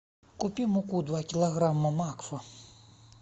купи муку два килограмма макфа